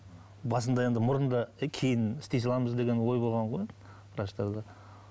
басында енді мұрынды кейін істей саламыз деген ой болған ғой врачтарда